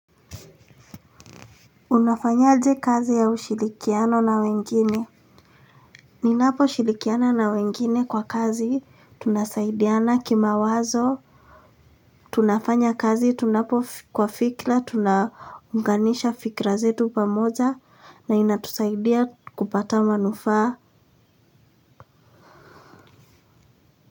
Unafanyaje kazi ya ushirikiano na wengine. Ninaposhirikiana na wengine kwa kazi tunasaidiana kimawazo tunafanya kazi tunapo kwa fikra tunaunganisha fikra zetu pamoja na inatusaidia kupata manufaa.